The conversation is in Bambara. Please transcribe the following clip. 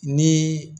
Ni